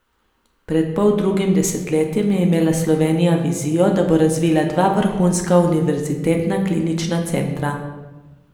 Pred poldrugim desetletjem je imela Slovenija vizijo, da bo razvila dva vrhunska univerzitetna klinična centra.